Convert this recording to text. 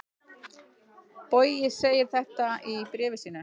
Bogi segir þetta í bréfi sínu: